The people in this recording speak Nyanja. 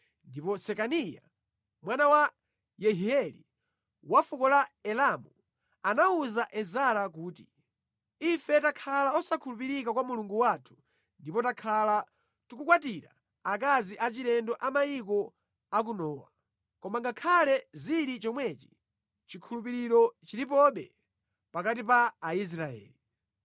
Ndipo Sekaniya, mwana wa Yehieli, wa fuko la Elamu, anawuza Ezara kuti, “Ife takhala osakhulupirika kwa Mulungu wathu ndipo takhala tikukwatira akazi achilendo a mayiko akunowa. Koma ngakhale zili chomwechi, chikhulupiriro chilipobe pakati pa Aisraeli.